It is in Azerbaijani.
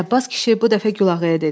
Ələbbas kişi bu dəfə Gülağaya dedi: